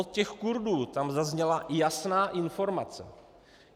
Od těch Kurdů tam zazněla jasná informace.